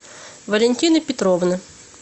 валентины петровны